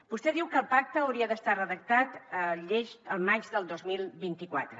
vostè diu que el pacte hauria d’estar redactat llest al maig del dos mil vint quatre